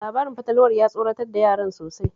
Labarin fatalwar ya tsoratar da yaran sosai